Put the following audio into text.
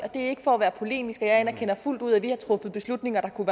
er ikke for at være polemisk for jeg anerkender fuldt ud at vi har truffet beslutninger der kunne